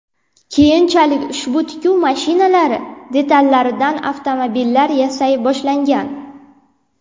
Keyinchalik ushbu tikuv mashinalari detallaridan avtomobillar yasay boshlagan.